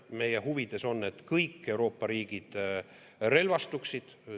Meie huvides on, et kõik Euroopa riigid relvastuksid.